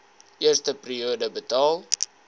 eerste periode betaal